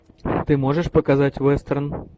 ты можешь показать вестерн